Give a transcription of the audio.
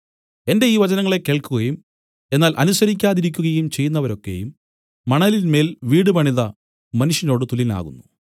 എന്റെ ഈ വചനങ്ങളെ കേൾക്കുകയും എന്നാൽ അനുസരിക്കാതിരിക്കുകയും ചെയ്യുന്നവരൊക്കെയും മണലിന്മേൽ വീടുപണിത മനുഷ്യനോടു തുല്യനാകുന്നു